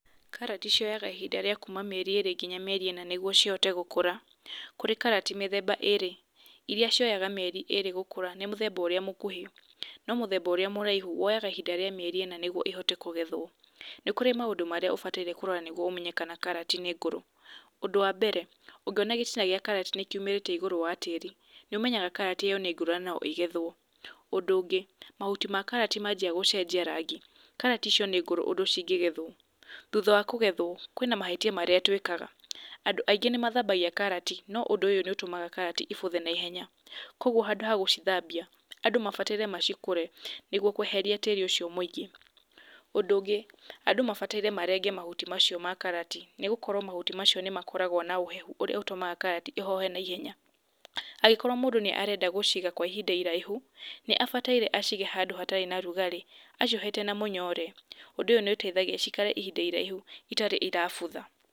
Karati cioyaga ihinda rĩa kuma mĩeri ĩrĩ nginya mĩeri ĩna nĩguo cihote gũkũra. Kũrĩ karati mĩthemba ĩrĩ, irĩa cioyaga ihinda inini gũkũra nĩ mũthemba ũrĩa mũkuhĩ, no mũthemba ũrĩa mũraihu woyaga mĩeri ĩna nĩguo cihote kũgethwo. Nĩ kũrĩ maũndũ marĩa ũbataire kũrora nĩguo ũmenye kana karati nĩ ngũrũ. Ũndũ wa mbere, ũngiona gĩtina gĩa karati nĩ kiumĩrĩte igũrũwa tĩri, nĩ ũmenyaga karati ĩyo nĩ ngũrũ na no ĩgethwo. Ũndũ wa kerĩ, mahuti ma karati mambia gũcenjia rangi, karati icio no cigetwo. Thutha wa kũgethwo, kwĩna mahĩtia nadũ aingĩ twĩkaga. Andũ aingĩ mathambagia karati, no ũndũ ũũ nĩ ũtũmaga karati ĩbuthe na ihenya , koguo handũ ha gũcithambia, andũ mabataire macikũre nĩguo kweheria tĩri ũcio mũingĩ. Ũndũ ũngĩ, and ũ mabataire maherie mahuti macio ma karati, nĩ gũkorwo mahuti macio nĩ makoragwo na ũhehu mũingĩ, ũrĩa ũtũmaga karati ĩhohe na ihenya. Angĩkorwo mũndũ nĩarenda gũciga kwa ihinda iraihu, nĩarabatara acige handũ hatarĩ na rugarĩ, aciohete na mũnyore, ũndũ ũyũ nĩ ũtũmaga ciikare kwa ihinda iraihu, itarĩ irabutha.